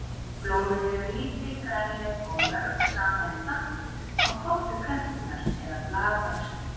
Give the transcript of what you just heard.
Blómin eru lítil, grænleit og mörg saman í hnapp á toppi plöntunnar eða blaðöxlum.